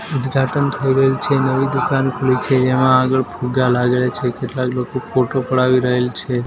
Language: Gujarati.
ઉદ્ઘાટન થઈ રહેલ છે નવી દુકાન ખુલી છે જેમાં આગળ ફુગ્ગા લાગેલા છે કેટલાક લોકો ફોટો પડાવી રહેલ છે.